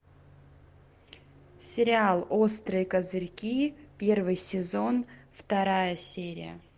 сериал острые козырьки первый сезон вторая серия